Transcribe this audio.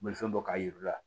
Bolifɛn bɔ k'a yir'u la